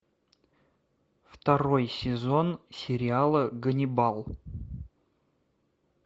второй сезон сериала ганнибал